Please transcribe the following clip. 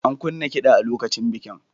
An kunna kiɗa a lokacin bikin.